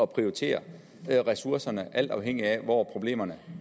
prioritere ressourcerne alt afhængigt af hvor problemerne